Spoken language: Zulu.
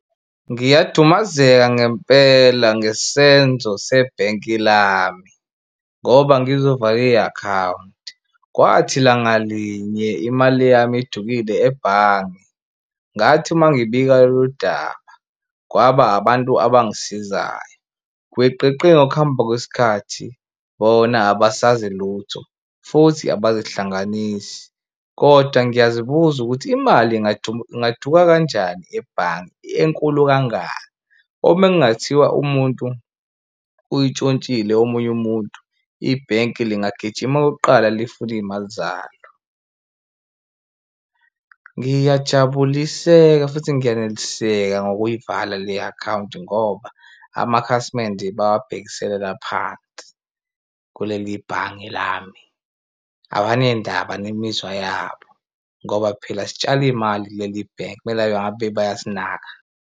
Ngiyadumazeka ngempela ngesenzo sebhenki lami ngoba ngizovala i-akhawunti. Kwathi langa linye imali yami idukile ebhange ngathi uma ngibika lolu daba kwaba abantu abangisizayo, gwiqiqi ngokuhamba kwesikhathi bona abasazi lutho futhi abazihlanganisi kodwa ngiyazibuza ukuthi imali ingaduka kanjani ebhange enkulu kangaka. Uma kungathiwa umuntu uyintshontshile omunye umuntu, ibhenki lingijima kuqala lifune iy'mali zalo. Ngiyajabuliseka futhi ngiyaneliseka ngokuyivala le akhawunti ngoba amakhasimende bawabhekiselela phansi kuleli bhange lami. Abanendaba nemizwa yabo ngoba phela sitshala imali kuleli bhenki, kumele ngabe bayasinaka.